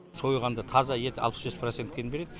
сойғанда таза еті алпыс бес процентке дейін береді